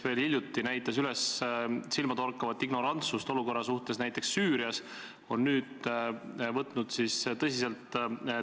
Keeletoimetaja soovitusel tegi riigikaitsekomisjon eelnõu punktis 1 ühe keelelise täpsustuse, lisades pärast sõna "sätestatud" sõna "Kaitseväe".